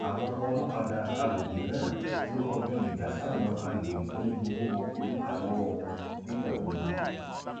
àwọn olókàdá àgbègbè náà ló kọjú ìjà sáwọn agbéró tó ń gbowó oríta lọwọ wọn nígbà gbogbo